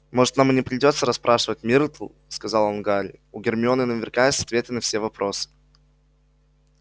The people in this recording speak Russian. может нам и не придётся расспрашивать миртл сказал он гарри у гермионы наверняка есть ответы на все вопрос